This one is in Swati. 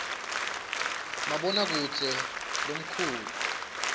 maboha kudze lomkhalu